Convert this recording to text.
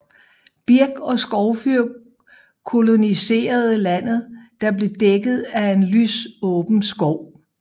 Birk og skovfyr koloniserede landet der blev dækket af en lysåben skov